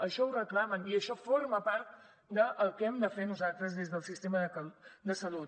això ho reclamen i això forma part del que hem de fer nosaltres des del sistema de salut